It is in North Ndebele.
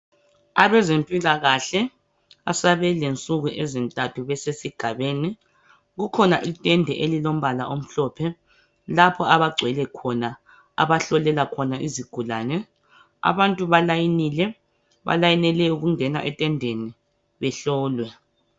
Abezempilakahle asebelensuku ezintathu besesigabeni. Kukhona itende elilombala omhlophe lapha abagcwele khona abahlolela khona izigulane. Abantu balayinile, balayinele ukungena etendeni behlolwe.